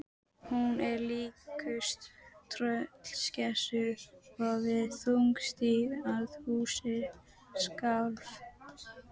Hún er líkust tröllskessu og svo þungstíg að húsið skalf.